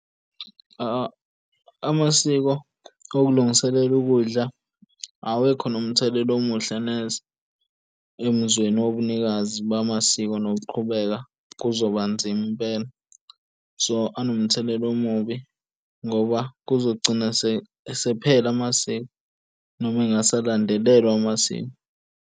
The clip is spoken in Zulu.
Amasiko okulungiselela ukudla awekho nomthelela omuhle neze, emzweni wobunikazi bamasiko nokuqhubeka kuzoba nzima impela so anomthelela omubi ngoba kuzogcina esephela amasiko noma engasalandelelwa amasiko.